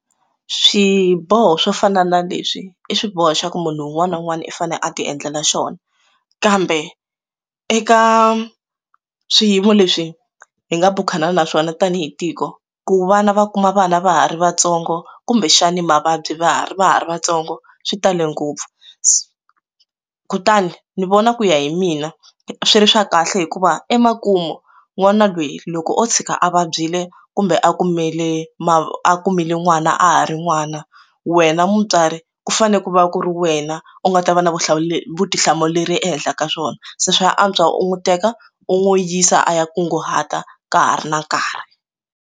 Swiboho swo fana na leswi i swiboho xa ku munhu un'wana na un'wana u fanele a ti endlela xona kambe eka swiyimo leswi hi nga bukhana na swona tanihi tiko ku vana va kuma vana va ha ri vatsongo kumbexani mavabyi va ha ri va ha ri vatsongo swi tale ngopfu kutani ni vona ku ya hi mina swi ri swa kahle hikuva emakumu n'wana loyi loko o tshika a va byile kumbe a kumele ma a kumile n'wana a ha ri n'wana wena mutswari ku fanele ku va ku ri wena u nga ta va na vutihlamuleri vutihlamuleri ehenhla ka swona se swa antswa u n'wi teka u n'wi yisa a ya kunguhata ka ha ri na nkarhi.